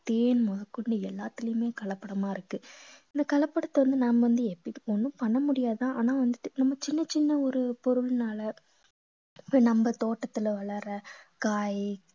தேன் முதற்கொண்டு எல்லாத்துலயுமே கலப்படமா இருக்கு இந்த கலப்படத்தை வந்து நாம வந்து எப்படி~ ஒண்ணும் பண்ண முடியாது ஆனா வந்துட்டு நம்ம சின்ன சின்ன ஒரு பொருள்னால இப்ப நம்ம தோட்டத்துல வளர்ற காய்